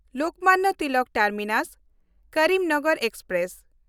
Lokmanya Tilak ᱴᱟᱨᱢᱤᱱᱟᱥ–ᱠᱚᱨᱤᱢᱱᱚᱜᱚᱨ express